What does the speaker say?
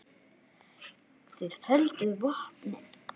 Þið földuð vopnin.